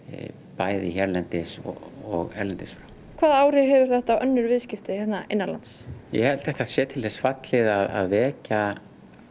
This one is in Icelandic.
bæði hérlendis og erlendis frá hvaða áhrif hefur þetta á önnur viðskipti hérna innanlands ég held að þetta sé til þess fallið að vekja